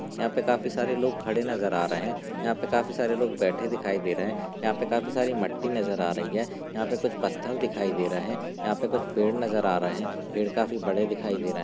यहा पे काफी सारे लोग खड़े नजर आ रहे यहा पे काफी सारे लोग बैठे दिखाई दे रहे यहाँ पे काफी सारी मट्टी नजर आ रही है यहा पे कुछ पत्थर दिखाई दे रहे यहा पे कुछ पेड़ नजर आ रहे पेड़ काफी बड़े दिखाई दे रहे।